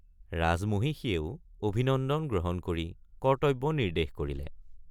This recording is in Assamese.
ৰাজমহিষীয়েও অভিনন্দন গ্ৰহণ কৰি কৰ্তব্য নিৰ্দেশ কৰিলে।